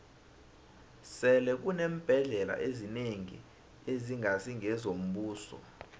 sele kuneembhendlela ezinengi ezingasi ngezombuso